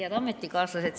Head ametikaaslased!